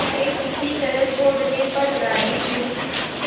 वे किसी तरह छोड़ने पर राजी नहीं